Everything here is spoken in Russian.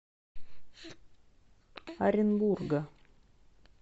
оренбурга